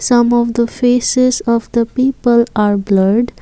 some of the faces of the people are blurred.